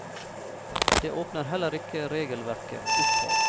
Det åpner heller ikke regelverket opp for.